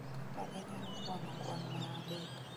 kaka inyalo kwano kwan ma adek